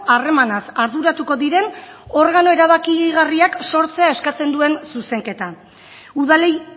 harremanaz arduratuko diren organo erabakigarriak sortzea eskatzen duen zuzenketa udalei